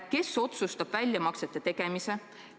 Kes otsustab väljamaksete tegemise?